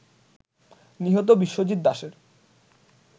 নিহত বিশ্বজিত দাসের